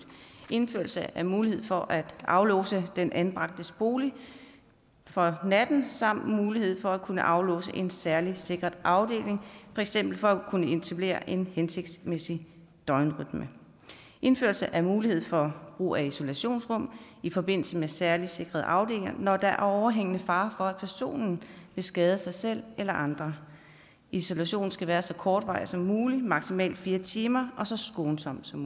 indførelse af mulighed for at aflåse den anbragtes bolig for natten samt mulighed for at kunne aflåse en særligt sikret afdeling for eksempel for at kunne etablere en hensigtsmæssig døgnrytme indførelse af mulighed for brug af isolationsrum i forbindelse med særligt sikrede afdelinger når der er overhængende fare for at personen vil skade sig selv eller andre isolationen skal være så kortvarig som mulig maksimalt fire timer og så skånsom som